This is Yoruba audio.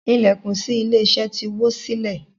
Ilẹkùn sí ilé iṣẹ ti wo silẹ.